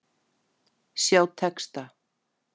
Sjá texta.